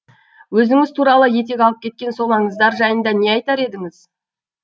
өзіңіз туралы етек алып кеткен сол аңыздар жайында не айтар едіңіз